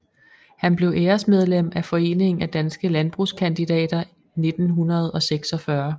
Han blev æresmedlem af Foreningen af danske Landbrugskandidater 1946